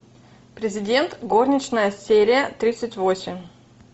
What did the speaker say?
президент горничная серия тридцать восемь